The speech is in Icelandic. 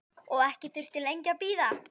Og ekki þurfti lengi að bíða.